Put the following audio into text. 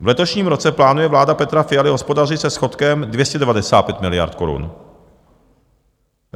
V letošním roce plánuje vláda Petra Fialy hospodařit se schodkem 295 miliard korun.